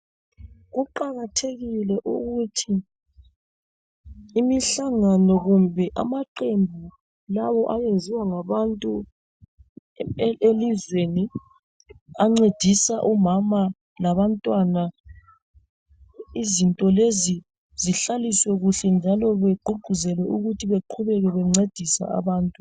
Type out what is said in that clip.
Kuqakathekile ukuthi imhlangano kumbe amaqembu lawo ayenziwa ngabantu elizweni ancedisa umama labantwana, izinto lezi zihlaliswe kuhle njalo begqugquzelwe ukuthi bahlale bencedisa abantu.